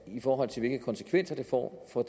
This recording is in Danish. i forhold til hvilke konsekvenser det får for